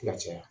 Ka caya